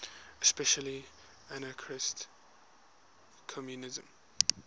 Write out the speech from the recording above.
especially anarchist communism